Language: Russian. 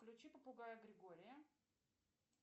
включи попугая григория